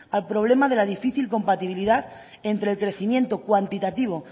al problema de la difícil compatibilidad entre el crecimiento cuantitativo